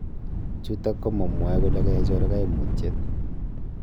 Chutok ko ma m,wae kole kaichor kaimutiet